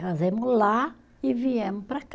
Casamos lá e viemos para cá.